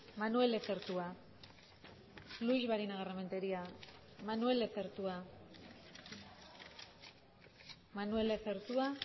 manuel lezertua luix barinagarrementeria manuel lezertua manuel lezertua